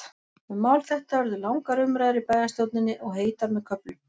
Um mál þetta urðu langar umræður í bæjarstjórninni, og heitar með köflum.